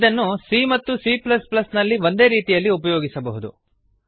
ಇದನ್ನು c ಮತ್ತು cನಲ್ಲಿ ಒಂದೇ ರೀತಿಯಲ್ಲಿ ಉಪಯೋಗಿಸಬಹುದು